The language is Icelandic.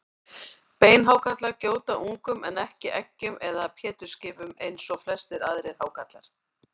Beinhákarlar gjóta ungum en ekki eggjum eða pétursskipum eins og flestir aðrir hákarlar.